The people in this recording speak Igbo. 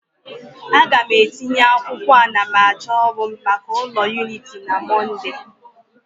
A ga m etinye akwụkwọ anamachọ ọrụ m maka ụlọ akụ Unity na Mọnde